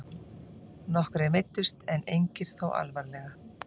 Nokkrir meiddust en engir þó alvarlega